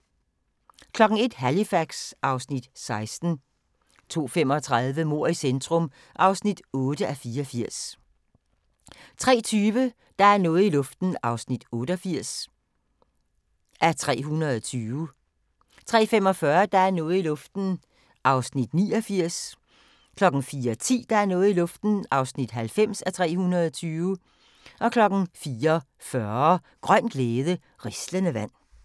01:00: Halifax (Afs. 16) 02:35: Mord i centrum (8:84) 03:20: Der er noget i luften (88:320) 03:45: Der er noget i luften (89:320) 04:10: Der er noget i luften (90:320) 04:40: Grøn glæde – rislende vand